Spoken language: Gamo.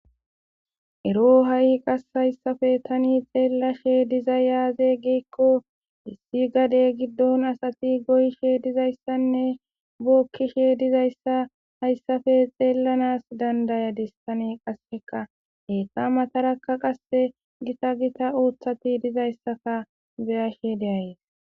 ero ha7i qass hayssafe tani xeellashe diza yaaze geekko dissi gade giddon asati goyshe dizayssanne bookkishe dizayssa hayssafe xeellanas dandayadistane qasseka heqqa matarakka qasse gita gita ooththati dizayssaka biyashe deayees